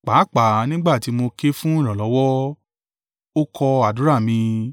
Pàápàá nígbà tí mo ké fún ìrànlọ́wọ́, ó kọ àdúrà mi.